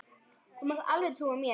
Þú mátt alveg trúa mér!